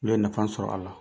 Olu ye nafa sɔrɔ a la.